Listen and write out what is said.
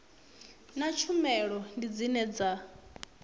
na tshumelo ndi dzine dza